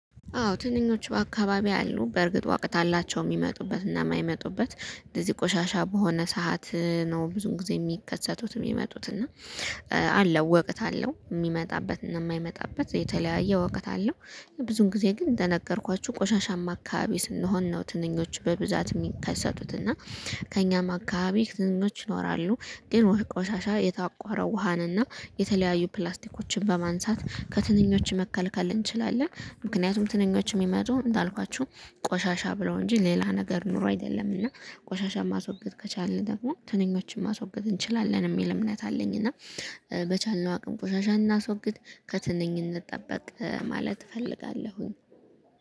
አዎ ትንኞቹ በአካባቢው አሉ በእርግጥ እውቀት አላቸው የሚመጡበትና የማይመጡበት እንደዚህ ቆሻሻ በሆነ ሰዓት ነው ብዙ ጊዜ የሚከሰቱት የሚመጡት እና። አለው ወቅት አለው የሚመጣበት እና የማይመጣበት የተለያየ እውቀት አለው። ብዙን ጊዜ ግን እንደነገርኳችሁ ቆሻሻማ አካባቢ ስንሆን ነው ትንኞች በብዛት የሚከሰቱት እና። ከእኛም አካባቢ ትንኞች ይኖራሉ ግን ቆሻሻ የታቆረ ውሃን እና የተለያዩ ፕላስቲኮችን በማንሳት ከትንኞች መከልከል እንችላለን። ምክንያቱም ትንኞች የሚመጡት እንዳልኳችሁ ቆሻሻ ብለው እንጂ ሌላ ነገር ኑሮ አይደለም። እና ቆሻሻ ማስወገድ ከቻልን ደግሞ ትንኞችን ማስወገድ እንችላለን የሚል እምነት አለኝ። እና በቻልነው አቅም ቆሻሻ እናስወግድ ከትንኝ እንጠበቅ ማለት እፈልጋለሁኝ